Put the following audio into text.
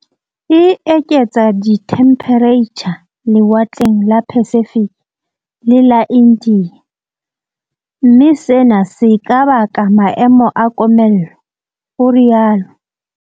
E eketsa dithemphereitjha lewatleng la Pacific le Ia India, mme sena se ka baka maemo a komello, o rialo.